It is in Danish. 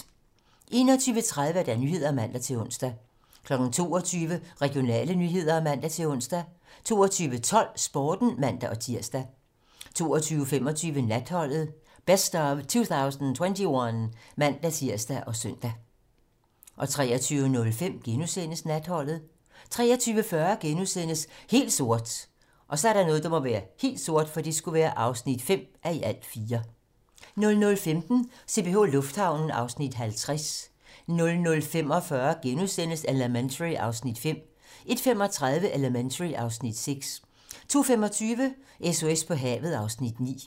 21:30: 21:30 Nyhederne (man-ons) 22:00: Regionale nyheder (man-ons) 22:12: Sporten (man-tir) 22:25: Natholdet - best of 2021 (man-tir og søn) 23:05: Natholdet * 23:40: Helt sort (5:4)* 00:15: CPH Lufthavnen (Afs. 50) 00:45: Elementary (Afs. 5)* 01:35: Elementary (Afs. 6) 02:25: SOS på havet (Afs. 9)